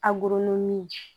A gulonnen